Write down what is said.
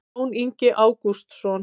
jón ingi ágústsson